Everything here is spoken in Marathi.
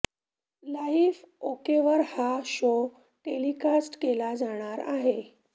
लाईफ ओकेवर हा शो टेलिकास्ट केला जाणार आहे